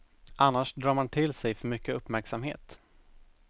Annars drar man till sig för mycket uppmärksamhet.